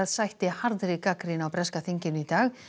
sætti harðri gagnrýni á breska þinginu í dag